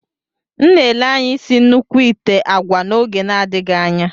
M na-ele anya isi nnukwu ite agwa n'oge na-adịghị anya.